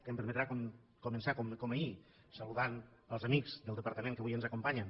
em permetran començar com ahir saludant els amics del departament que avui ens acompanyen